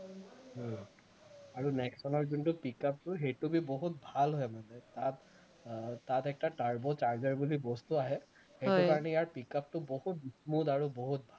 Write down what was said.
আৰু নেক্সনৰ যোনটো pick up টো সেইটো বহুত ভাল হয় মানে তাত আহ তাত একটা turbo charger বুলি বস্তু আহে সেইটো কাৰণে ইয়াৰ pick up টো বহুত smooth আৰু বহুত ভাল